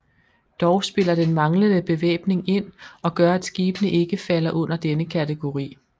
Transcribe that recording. Dog spiller den manglende bevæbning ind og gør at skibene ikke falder under denne kategori